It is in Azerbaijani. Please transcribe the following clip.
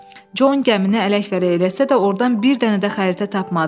Con gəmini ələk-vələk eləsə də, ordan bir dənə də xəritə tapmadı.